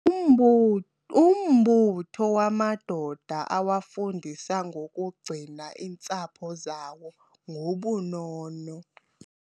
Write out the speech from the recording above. Umbu umbutho wamadoda uwafundisa ngokugcina iintsapho zawo ngobunono.